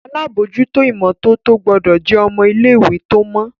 àlabòjuto imototo gbódò jé ọmọ ilé ìwé tó mọ